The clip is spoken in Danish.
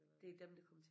Det er dem der kommer til